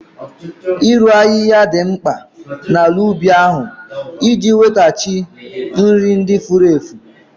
Ịru ahịhịa dị mkpa maka ala ubi ahụ iji nwetaghachi nri ndị furu efu